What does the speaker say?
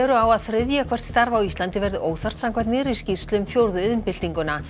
á að þriðja hvert starf á Íslandi verði óþarft samkvæmt nýrri skýrslu um fjórðu iðnbyltinguna